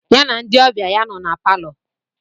Ya na ndị ọbịa ya nọ na palọ.